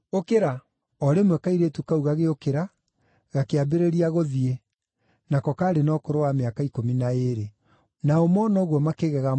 O rĩmwe kairĩtu kau gagĩũkĩra, gakĩambĩrĩria gũthiĩ (nako kaarĩ na ũkũrũ wa mĩaka ikũmi na ĩĩrĩ). Nao mona ũguo makĩgega mũno.